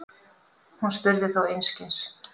Hún spurði þó einskis.